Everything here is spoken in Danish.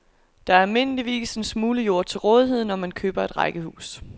Der er almindeligvis en smule jord til rådighed, når man køber rækkehus.